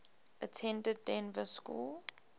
attended dynevor school